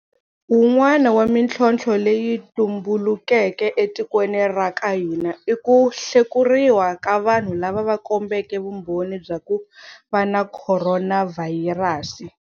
Wun'wana wa mitlhontlho leyi yi tumbulukeke etikweni ra ka hina i ku hlekuriwa ka vanhu lava va kombeke vumbhoni bya ku va na khoronavhayirasi.